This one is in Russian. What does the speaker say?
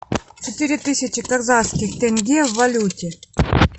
четыре тысячи казахских тенге в валюте